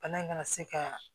Bana in kana se ka